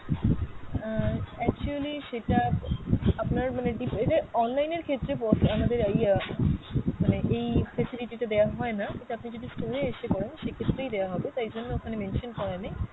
আহ actually সেটা আপ~ আপনার মানে ডিপ, এইটা online এর ক্ষেত্রে আমাদের ইয়া মানে এই facility টা দেওয়া হয়না, সেটা আপনি যদি store এ এসে করেন সেই ক্ষেত্রেই দেওয়া হবে তাই জন্য ওখানে mention করা নেই।